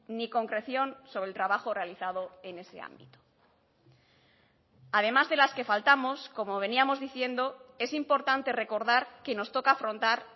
ni concreción sobre el trabajo realizado en ese ámbito además de las que faltamos como veníamos diciendo es importante recordar que nos toca afrontar